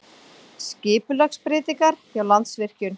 Skipulagsbreytingar hjá Landsvirkjun